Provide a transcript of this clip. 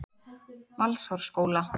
Valsárskóla